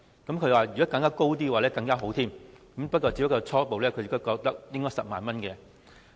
他表示，如果金額再高會更好，但他初步覺得應該是10萬元。